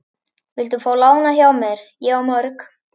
Viltu fá lánað hjá mér, ég á mörg!